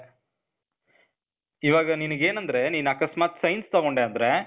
ಇವಾಗ ನನಿಗೆ ಏನಂದ್ರೆ ನೀನ್ ಅಕಸ್ಮಾತ್ science ತಗೊಂಡೆ ಅಂದ್ರೇ,